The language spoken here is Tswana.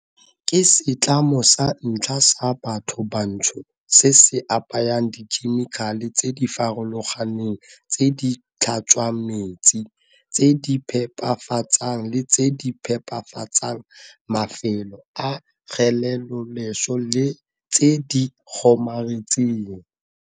Ke setlamo sa ntlha sa bathobantsho se se apayang dikhemikhale tse di farologaneng tse di tlhatswang metsi, tse di phepafatsang le tse di phepafatsang mafelo a kgeleloleswe le tse di kgomaretsang.